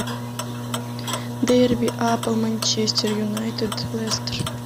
дерби апл манчестер юнайтед лестер